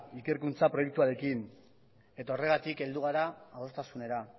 ikerkuntza proiektuarekin eta horregatik heldu gara adostasunera